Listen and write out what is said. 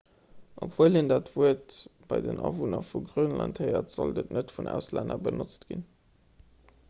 obwuel een dat wuert bei den awunner vu grönland héiert sollt et net vun auslänner benotzt ginn